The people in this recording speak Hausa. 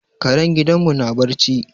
Karen gidan mu na barci